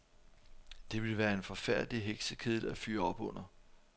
Det ville være en forfærdelig heksekedel at fyre op under.